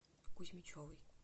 кузьмичевой